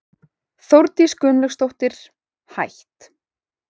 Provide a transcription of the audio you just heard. Þórdís Gunnlaugsdóttir, hætt